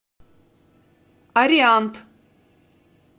ариант